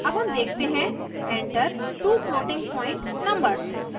अब हम देखते हैं: enter two floating point numbers